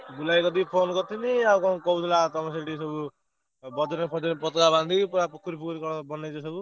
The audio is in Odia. ବୁଲା ଭାଇ କତିକି phone କରିଥିଲି ଆଉ କଣ କହୁଥିଲା ତମର ସେଠି ସବୁ। ବଜରଙ୍ଗୀ ଫଜରଙ୍ଗୀ ପତକା ବାନ୍ଧି କି ପୁରା ପୋଖରୀ ଫୋଖରି କଣ ବନେଇଚ ସବୁ।